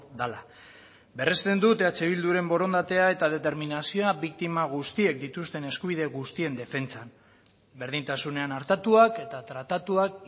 dela berresten dut eh bilduren borondatea eta determinazioa biktima guztiek dituzten eskubide guztien defentsan berdintasunean artatuak eta tratatuak